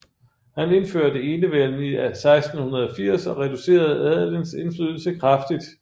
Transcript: Han indførte enevælden i 1680 og reducerede adelens indflydelse kraftigt